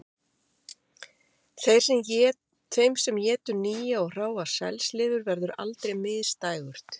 Þeim sem étur nýja og hráa selslifur verður aldrei misdægurt